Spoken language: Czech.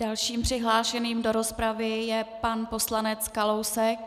Dalším přihlášeným do rozpravy je pan poslanec Kalousek.